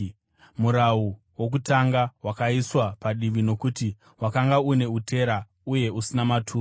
Murau wokutanga wakaiswa padivi nokuti wakanga une utera uye usina maturo